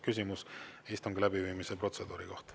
Küsimus istungi läbiviimise protseduuri kohta.